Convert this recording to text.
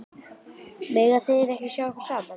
Mega þeir ekki sjá okkur saman?